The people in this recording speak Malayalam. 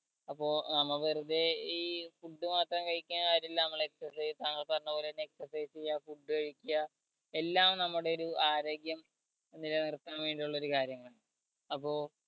അപ്പൊ നമ്മ വെറുതെ ഈ food മാത്രം കഴിക്കന്ന കാര്യുല്ല നമ്മൾ exercise താങ്കൾ പറഞ്ഞപോലെ തന്നെ exercise ചെയ്യാ food കഴിക്ക എല്ലാം നമ്മുടെ ഒരു ആരോഗ്യം നില നിർത്താൻ വേണ്ടി ഉള്ളൊരു കാര്യമാണ് അപ്പൊ